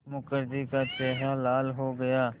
मुखर्जी का चेहरा लाल हो गया